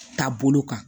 Taa bolo kan